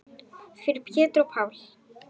Fyrir Pétur og Pál.